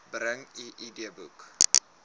bring u idboek